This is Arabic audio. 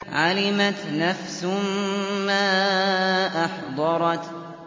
عَلِمَتْ نَفْسٌ مَّا أَحْضَرَتْ